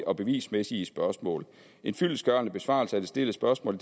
og bevismæssige spørgsmål en fyldestgørende besvarelse af det stillede spørgsmål